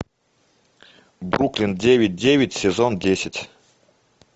бруклин девять девять сезон десять